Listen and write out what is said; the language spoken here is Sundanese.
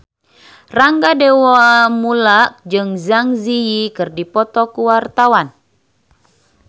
Rangga Dewamoela jeung Zang Zi Yi keur dipoto ku wartawan